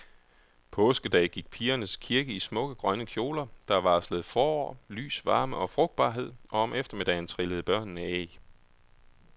Påskedag gik pigerne til kirke i smukke grønne kjoler, der varslede forår, lys, varme og frugtbarhed, og om eftermiddagen trillede børnene æg.